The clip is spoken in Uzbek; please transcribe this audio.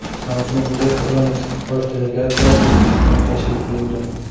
Samsung Electronics’ning bosh delegatsiyasi O‘zbekistonga tashrif buyurdi.